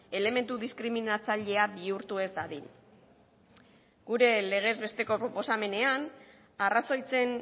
elementu diskriminatzailea bihurtu ez dadin gure legez besteko proposamenean arrazoitzen